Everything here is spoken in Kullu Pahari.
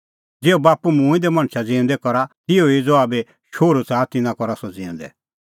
ज़िहअ बाप्पू मूंऐं दै मणछा ज़िऊंदै करा तिहअ ई ज़हा बी शोहरू च़ाहा तिन्नां करा सह ज़िऊंदै